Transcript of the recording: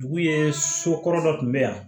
Dugu ye so kɔrɔ dɔ tun bɛ yan